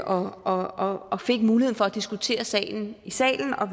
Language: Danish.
og fik mulighed for at diskutere sagen i salen og